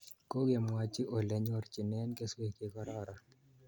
Kokemwochi ole nyorchinen keswek che kororon